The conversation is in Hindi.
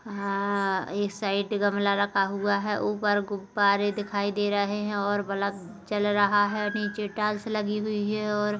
हाँ एक साइड गमला रखा हुआ है ऊपर गुब्बारे दिखाई दे रहे है और बलब चल रहा है नीचे टाइल्स लगी हुई है और --